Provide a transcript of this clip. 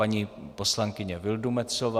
Paní poslankyně Vildumetzová.